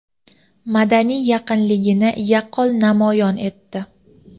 madaniy yaqinligini yaqqol namoyon etdi.